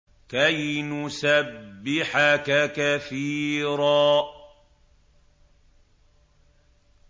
كَيْ نُسَبِّحَكَ كَثِيرًا